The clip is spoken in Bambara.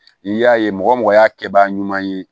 N'i y'a ye mɔgɔ mɔgɔ y'a kɛbaga ɲuman ye